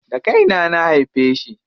Da kaina na haife shi.